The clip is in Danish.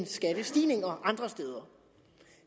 skattestigninger andre steder